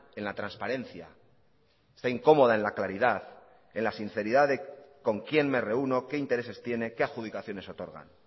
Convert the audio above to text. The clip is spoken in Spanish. en la transparencia está incomoda en la claridad en la sinceridad de con quien me reúno qué intereses tiene qué adjudicaciones otorgan